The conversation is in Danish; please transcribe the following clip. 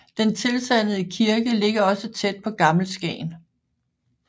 Den tilsandede kirke ligger også tæt på Gammel Skagen